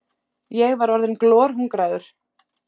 Ég var orðinn glorhungraður.